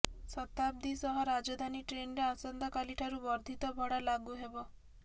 ଶତାବ୍ଦୀ ସହ ରାଜଧାନୀ ଟ୍ରେନରେ ଆସନ୍ତାକାଲି ଠାରୁ ବର୍ଦ୍ଧିତ ଭଡ଼ା ଲାଗୁ ହେବ